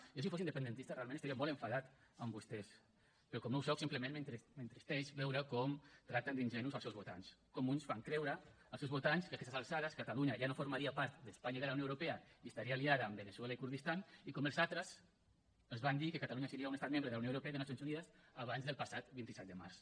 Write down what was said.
jo si fos independentista realment estaria molt enfadat amb vostès però com no ho soc simplement m’entristeix veure com tracten d’ingenus els seus votants com uns fan creure als seus votants que a aquestes alçades catalunya ja no formaria part d’espanya i de la unió europea i estaria aliada amb veneçuela i el kurdistan i com els altres els van dir que catalunya seria un estat membre de la unió europea i de nacions unides abans del passat vint set de març